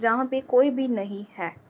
जहाँ पे कोई भी नहीं है।